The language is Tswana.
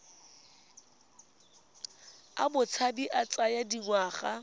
a botshabi a tsaya dingwaga